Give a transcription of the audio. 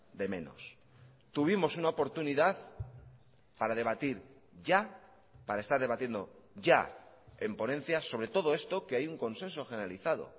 de menos tuvimos una oportunidad para debatir ya para estar debatiendo ya en ponencias sobre todo esto que hay un consenso generalizado